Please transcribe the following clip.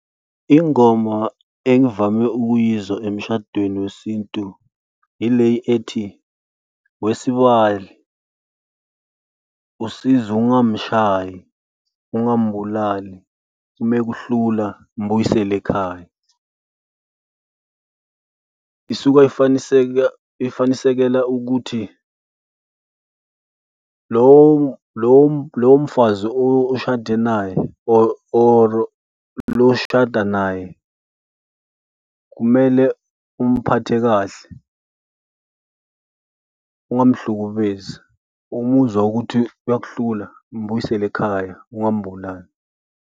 Ingoma engivame ukuyizwa emshadweni wesintu ile ethi, wesibali usize ungamshayi, ungambulali, uma ekuhlula mbuyisele ekhaya, isuke eseka ifanisekela ukuthi lomfazi oshade naye or or lo oshada naye kumele umphathe kahle ungamhlukumezi. Uma umuzwa ukuthi uyakuhlula, mbuyisele ekhaya, ungambulali.